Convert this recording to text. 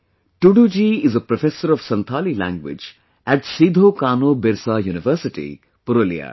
Tudu ji is a professor of Santhali language at SidhoKaanoBirsa University, Purulia